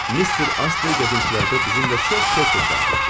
Mister Astley gəzintilərdə bizimlə çox tez-tez qarşılaşır.